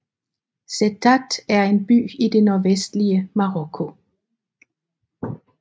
Settat er en by i det nordvestlige Marokko